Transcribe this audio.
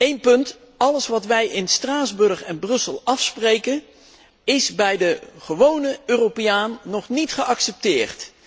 Eén punt echter alles wat wij in Straatsburg en Brussel afspreken, is bij de gewone Europeaan nog niet geaccepteerd.